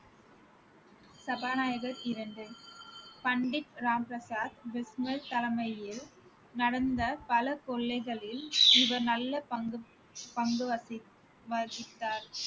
சபாநாயகர் இரண்டு, பண்டிட் ராம் பிரசாத் தலைமையில் நடந்த பல கொள்ளைகளில் இவர் நல்ல பங்கு பங்கு வசி~ வகித்தார்